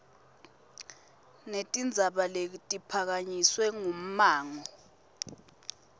netindzaba letiphakanyiswe ngummango